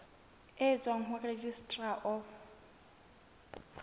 e tswang ho registrar of